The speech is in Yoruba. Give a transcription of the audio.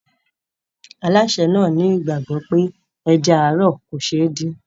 Alásè náà ní ìgbàgbọ́ pé ẹja ààrọ̀ kò ṣe é dín.